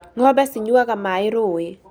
Ng'ombe cinyuaga maaĩ rũũĩ